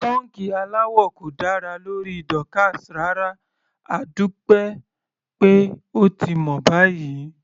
Pọ́ńkì aláwọ̀ kò dára lórí Dorcas rárá, adúpẹ́ pé ó ti mọ̀ báyìí.